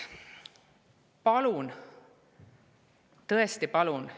Palun – tõesti palun!